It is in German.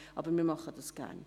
Aber wir machen dies gerne.